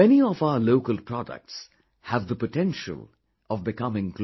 Many of our local products have the potential of becoming global